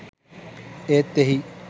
ඒත් එහි